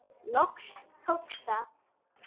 Loks tókst það.